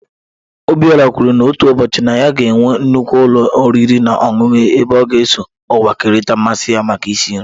Obiora kwuru na otu ụbọchị na ya ga-enwe nnukwu ụlọ oriri na ọṅụṅụ ebe ọ ga-eso ụwa kerịta mmasị ya maka isi nri